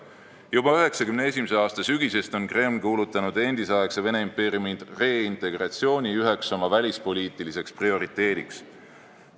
Juba 1991. aasta sügisel kuulutas Kreml endisaegse Vene impeeriumi reintegratsiooni üheks oma välispoliitiliseks prioriteediks.